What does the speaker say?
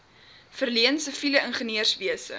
verleen siviele ingenieurswese